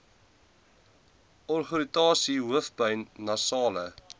oogirritasie hoofpyn nasale